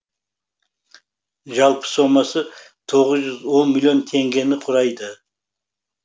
жалпы сомасы тоғыз жүз он миллион теңгені құрады